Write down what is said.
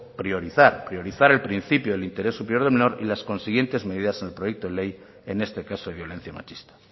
priorizar priorizar el principio del interés superior del menor y las consiguientes medidas en el proyecto de ley en este caso de violencia machista